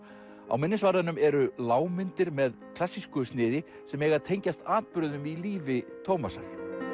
á minnisvarðanum eru lágmyndir með klassísku sniði sem eiga að tengjast atburðum í lífi Tómasar